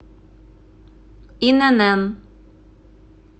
инн